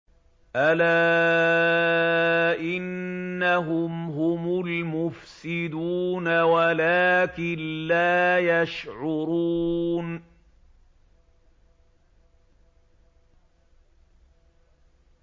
أَلَا إِنَّهُمْ هُمُ الْمُفْسِدُونَ وَلَٰكِن لَّا يَشْعُرُونَ